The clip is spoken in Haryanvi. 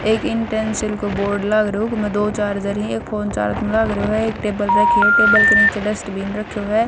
एक इंटेन्सिल को बोर्ड लाग रयो हउकह मह दो चार्जर हं एक फोन चार्ज म लाग रयो हएक टेबल रखी ह टेबल क नीचे डस्ट्बिन रख्यो ह।